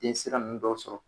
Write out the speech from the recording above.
Densira nunnu dɔ sɔrɔ